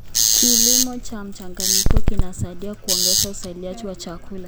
Kilimo cha mchanganyiko kinasaidia kuongeza uzalishaji wa chakula.